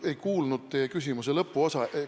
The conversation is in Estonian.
Ma ei kuulnud teie küsimuse lõpuosa.